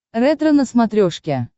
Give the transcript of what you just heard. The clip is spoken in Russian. ретро на смотрешке